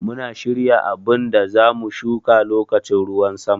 Muna shirya abun da za mu shuƙa loƙacin ruwan sama.